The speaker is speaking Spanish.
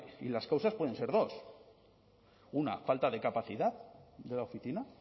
y las causas pueden ser dos una falta de capacidad de la oficina